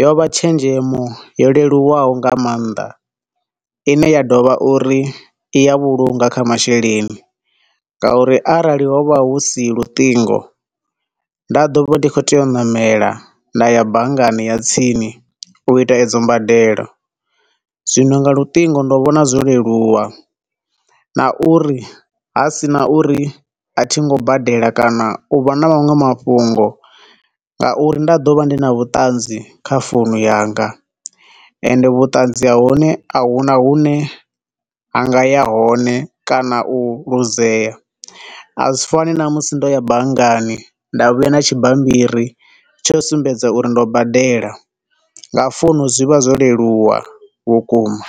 yo vha tshenzhemo yo leluwaho nga maanḓa, ine ya dovha uri i ya vhulunga kha masheleni nga uri arali ho vha hu si luṱingo, nda ḓo vha ndi khou tea u ṋamela ndaya banngani ya tsini u ita edzo mbadelo, zwino nga luṱingo ndo vhona zwo leluwa, na uri ha sina uri a thingo badela kana uvha na maṅwe mafhungo ngauri nda ḓo vha ndi na vhuṱanzi kha founu yanga, ende vhuṱanzi ha hone a huna hune ha nga ya hone kana u luzea, a zwi fani na musi ndo ya banngani nda vhuya na tshibambiri tsho u sumbedza uri ndo badela. Nga founu zwi vha zwo leluwa vhukuma.